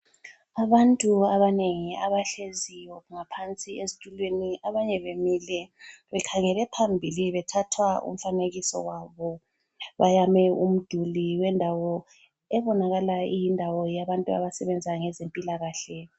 Abantu abanengi abahleziyo ngaphansi esitulweni abanye bemile bekhangele phambili bethathwa umfanekiso wabo. Bayame umduli wendawo ebonakala iyindawo yabantu abasebenza ngezempilakahle.